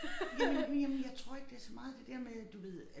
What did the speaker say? Jamen jamen jeg tror ikke det så meget det der med du ved